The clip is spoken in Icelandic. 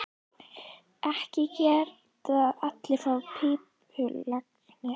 Ekki geta allir farið í pípulagnir.